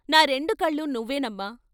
నా రెండు కళ్ళూ నువ్వే నమ్మా....